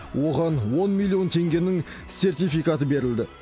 оған он миллион теңгенің сертификаты берілді